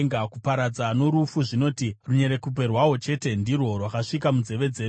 Kuparadza noRufu zvinoti, ‘Runyerekupe rwahwo chete ndirwo rwakasvika munzeve dzedu.’